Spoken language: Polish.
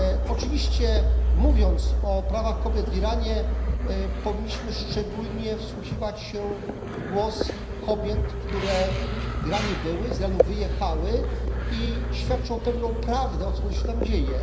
Oczywiście mówiąc o prawach kobiet w Iranie, powinniśmy szczególnie wsłuchiwać się w głos kobiet, które w Iranie były, z Iranu wyjechały i świadczą pewną prawdę o tym, co się tam dzieje.